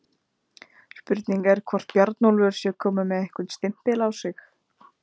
Spurning er hvort Bjarnólfur sé kominn með einhvern stimpil á sig?